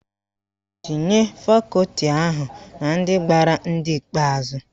Tinye fakọti ahụ na ndị gbara ndị ikpeazụ